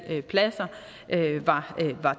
pladser var